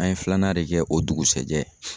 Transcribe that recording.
An ye filanan de kɛ o dugusajɛ.